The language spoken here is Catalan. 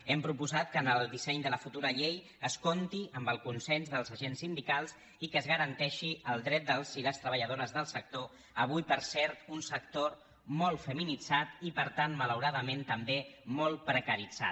hem proposat que en el disseny de la futura llei es compti amb el consens dels agents sindicals i que es garanteixi el dret dels i les treballadores del sector avui per cert un sector molt feminitzat i per tant malauradament també molt precaritzat